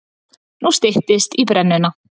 Nú styttist í brennuna.